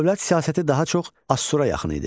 Dövlət siyasəti daha çox Asura yaxın idi.